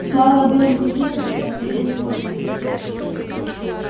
слава о белом клыке прокатилась повсюду